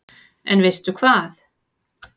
En veistu hvað